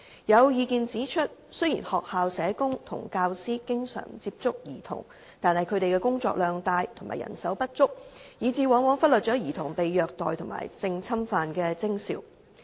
有意見指出，雖然學校社工和教師經常接觸兒童，但他們工作量大和人手不足，以致往往忽略兒童被虐待及性侵犯的徵兆。